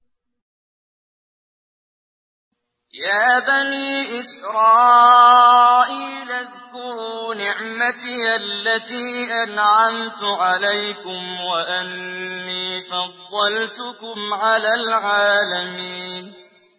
يَا بَنِي إِسْرَائِيلَ اذْكُرُوا نِعْمَتِيَ الَّتِي أَنْعَمْتُ عَلَيْكُمْ وَأَنِّي فَضَّلْتُكُمْ عَلَى الْعَالَمِينَ